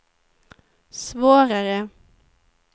svårare